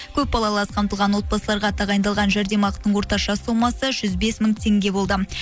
көпбалалы аз қамтылған отбасыларға тағайындалған жәрдемақының орташа сомасы жүз бес мың теңге болды